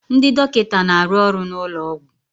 Ndị dọkịta na-arụ ọrụ n'ụlọ ọgwụ